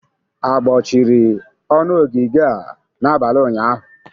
Agbọchịrị ọnụ ogige a n'abalị ụnyaahụ?